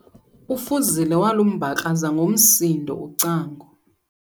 UFuzile walumbakraza ngomsindo ucango.